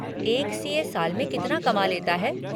एक सी.ए. साल में कितना कमा लेता है।